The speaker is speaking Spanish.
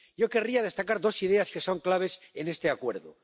Yo querría destacar dos ideas que son claves en este acuerdo.